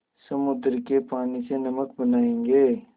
समुद्र के पानी से नमक बनायेंगे